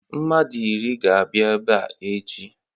Mmadụ iri ga-abịa ebe a echi.